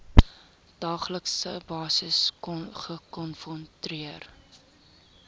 daaglikse basis gekonfronteer